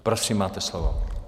Prosím, máte slovo.